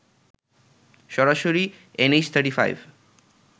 সরাসরি এনএইচ 35